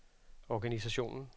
organisationen